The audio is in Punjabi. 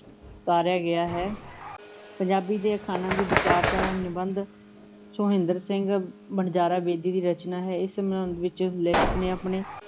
ਗਿਆ ਹੈ, ਪੰਜਾਬੀ ਦੇ ਅਖਾਣਾਂ ਦੀ ਵਿਚਾਰਧਾਰਾ ਨਿਬੰਧ ਸੋਹਿੰਦਰ ਸਿੰਘ ਵਣਜਾਰਾ ਬੇਦੀ ਦੀ ਰਚਨਾ ਹੈ, ਇਸ ਵਿੱਚ ਲੇਖਕ ਨੇ ਆਪਣੇ